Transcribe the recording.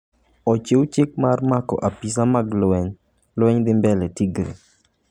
Ociew chik mar mako apisa mag lweny, lweny dhi mbele Tigray